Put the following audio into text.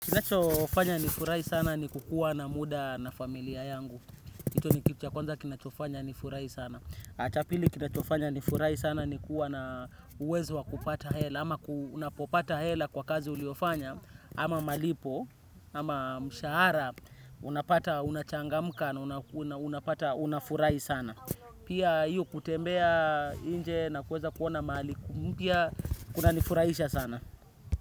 Kinachofanya nifurahi sana ni kuwa na muda na familia yangu. Hicho ni kitu cha kwanza kinachonifanya nifurahi sana na cha pili kinachofanya nifurahi sana ni kuwa na uwezo wa kupata hela. Ama unapopata hela kwa kazi uliyofanya. Ama malipo, ama mshahara, unapata, unachangamka na unapata, unafurahi sana. Pia hio kutembea nje na kuweza kuona mahali, mpya kunanifuraiisha sana.